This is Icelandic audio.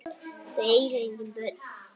Þau eiga engin börn.